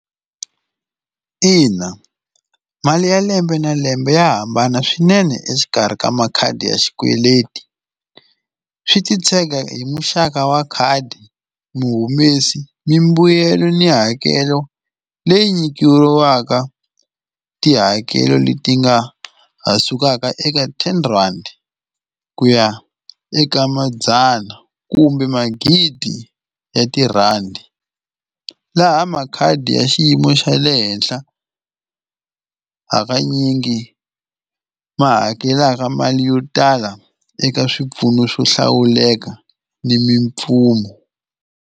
Ina mali ya lembe na lembe ya hambana swinene exikarhi ka makhadi ya xikweleti swi titshege hi muxaka wa khadi muhumesi mimbuyelo ni hakelo leyi nyikiwaka tihakelo leti nga ha sukaka eka ten rhandi ku ya eka madzana kumbe magidi ya tirhandi laha makhadi ya xiyimo xa le henhla hakanyingi ma hakelaka mali yo tala eka swipfuno xo hlawuleka ni .